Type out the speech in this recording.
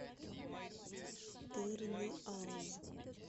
тырныауз